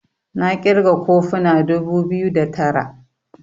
na kirga kofuna dubu biyu da Tara